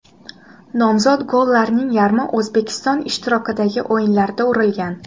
Nomzod gollarning yarmi O‘zbekiston ishtirokidagi o‘yinlarda urilgan.